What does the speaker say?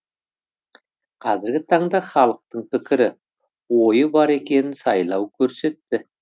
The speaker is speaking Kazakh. қазіргі таңда халықтың пікірі ойы бар екенін сайлау көрсетті